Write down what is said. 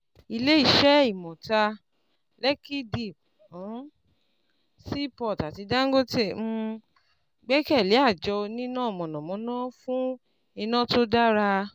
Ilé iṣẹ́ Imota, Lekki Deep um Seaport àti DANGOTE um gbẹ́kẹ̀lé àjọ oníná mọ̀nàmọ́ná fún iná tó dára.